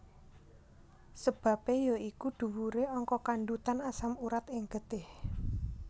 Sebabe ya iku dhuwure angka kandhutan asam urat ing getih